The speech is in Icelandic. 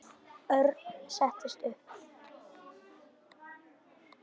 Örn settist upp.